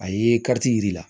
A ye yir'i la